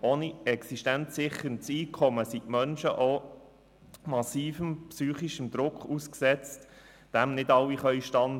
Ohne existenzsicherndes Einkommen sind die Menschen auch massivem psychischem Druck ausgesetzt, dem nicht alle standhalten können.